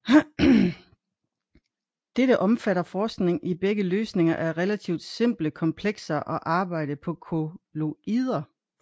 Dette omfatter forskning i begge løsninger af relativt simple komplekser og arbejde på kolloider